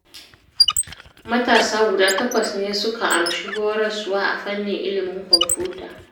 Matasa guda takwas ne suka amshi horaswa a fannin ilimin kwamfuta